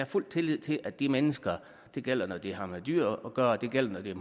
fuld tillid til at de mennesker og det gælder når det har med dyr at gøre og det gælder når det